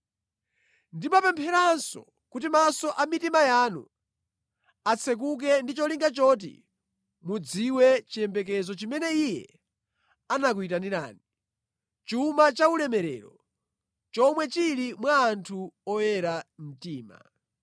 Ndimapempheranso kuti maso a mitima yanu atsekuke ndi cholinga choti mudziwe chiyembekezo chimene Iye anakuyitanirani, chuma cha ulemerero chomwe chili mwa anthu oyera mtima.